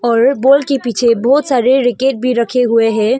और बॉल के पीछे बहुत सारे रैकेट भी रखे हुए हैं।